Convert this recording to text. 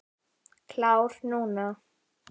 Klár núna.